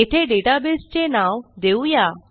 येथे डेटाबेस चे नाव देऊ या